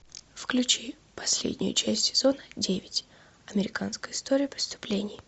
включи последнюю часть сезона девять американская история преступлений